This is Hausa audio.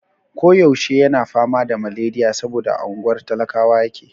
Ko yaushe yana fama da maleriya saboda a unguwar talakawa yake.